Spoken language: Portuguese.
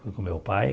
Fui com meu pai.